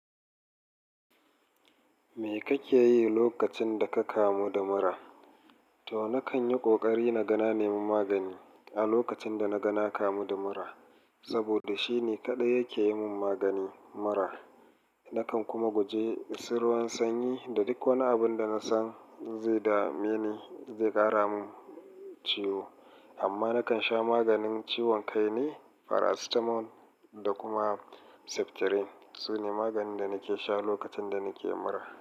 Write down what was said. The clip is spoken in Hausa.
Me kake yi lokacin da ka kamu da mura? To, nakan yi ƙoƙari naga na nemi magani a lokacin dana ga na kamu da mura, saboda shine kaɗai yake yi mun magani mura. Nakan kuma guje su ruwan sanyi da duk wani abinda na san zai dame ni, zai ƙara mun ciwo. Amma nakan sha maganin ciwon kai ne, farasitamol da kuma seftirin. Su ne maganin da nake sha lokacin da nakeyin mura.